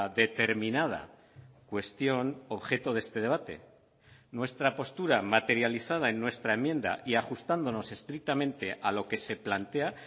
determinada cuestión objeto de este debate nuestra postura materializada en nuestra enmienda y ajustándonos estrictamente a lo que se plantea